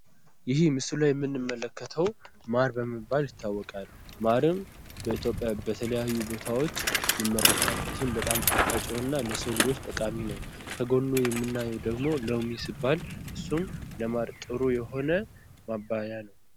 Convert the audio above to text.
ይሄ ምስሉ ላይ የምንመለከተው ማር በመባል ይታወቃል። ማርም በኢትዮጵያ በተለያዩ ቦታዎች ይመረታል። ይህም በጣም ጣፋጭ የሆነና ለሰው ልጆች ጠቃሚ ነው። ከጎኑ የምናየው ደግሞ ሎሚ ሲባል እሱም ለማር ጥሩ የሆነ ማባያ ነው።